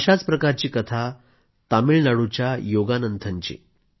अशाच प्रकारची कथा तामिळनाडूच्या योगानंथनची आहे